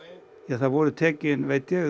það voru